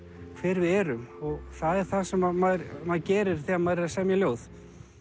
hver við erum og það er það sem maður maður gerir þegar maður er að semja ljóð